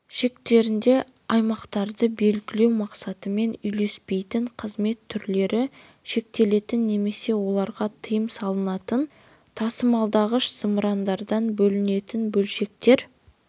шектерінде аймақтарды белгілеу мақсаттарымен үйлеспейтін қызмет түрлері шектелетін немесе оларға тыйым салынатын тасымалдағыш зымырандардан бөлінетін бөлшектер